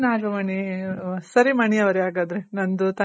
ಸರಿ ನಾಗಮಣಿ ಸರಿ ಮಣಿ ಅವ್ರೆ ಹಾಗಾದ್ರೆ ನಂದು ತಂಗಿದು